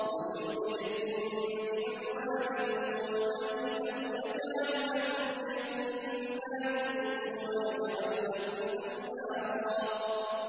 وَيُمْدِدْكُم بِأَمْوَالٍ وَبَنِينَ وَيَجْعَل لَّكُمْ جَنَّاتٍ وَيَجْعَل لَّكُمْ أَنْهَارًا